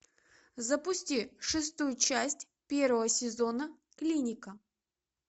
запусти шестую часть первого сезона клиника